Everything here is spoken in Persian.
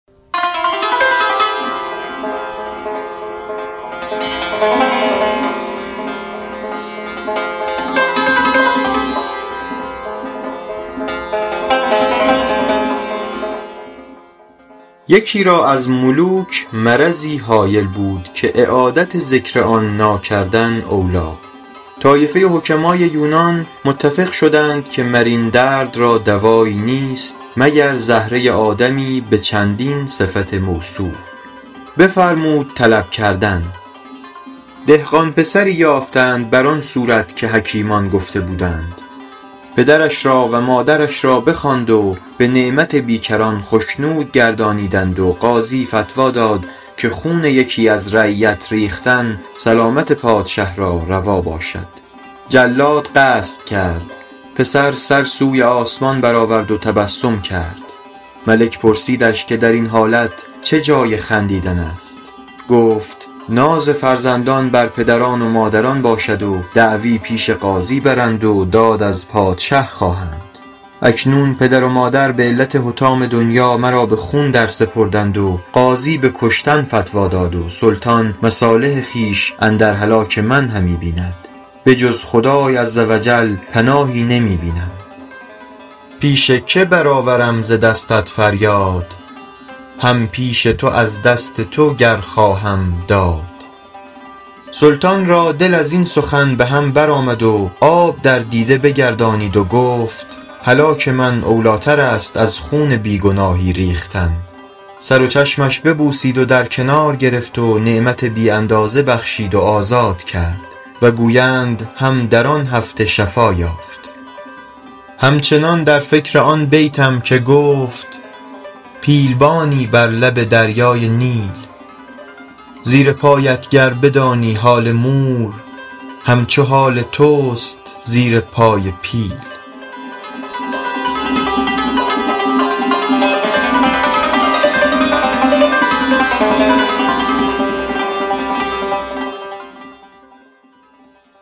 یکی را از ملوک مرضی هایل بود که اعادت ذکر آن ناکردن اولیٰ طایفه حکمای یونان متفق شدند که مر این درد را دوایی نیست مگر زهره آدمی به چندین صفت موصوف بفرمود طلب کردن دهقان پسری یافتند بر آن صورت که حکیمان گفته بودند پدرش را و مادرش را بخواند و به نعمت بیکران خشنود گردانیدند و قاضی فتویٰ داد که خون یکی از رعیت ریختن سلامت پادشه را روا باشد جلاد قصد کرد پسر سر سوی آسمان بر آورد و تبسم کرد ملک پرسیدش که در این حالت چه جای خندیدن است گفت ناز فرزندان بر پدران و مادران باشد و دعوی پیش قاضی برند و داد از پادشه خواهند اکنون پدر و مادر به علت حطام دنیا مرا به خون درسپردند و قاضی به کشتن فتویٰ داد و سلطان مصالح خویش اندر هلاک من همی بیند به جز خدای عزوجل پناهی نمی بینم پیش که بر آورم ز دستت فریاد هم پیش تو از دست تو گر خواهم داد سلطان را دل از این سخن به هم بر آمد و آب در دیده بگردانید و گفت هلاک من اولیٰ تر است از خون بی گناهی ریختن سر و چشمش ببوسید و در کنار گرفت و نعمت بی اندازه بخشید و آزاد کرد و گویند هم در آن هفته شفا یافت هم چنان در فکر آن بیتم که گفت پیل بانی بر لب دریای نیل زیر پایت گر بدانی حال مور هم چو حال توست زیر پای پیل